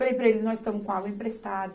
Falei para ele, nós estamos com água emprestada.